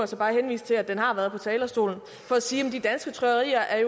så bare henvise til at den har været med på talerstolen for at sige at de danske trykkerier er